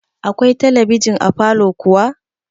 Akwai talabijin a falow kuwa?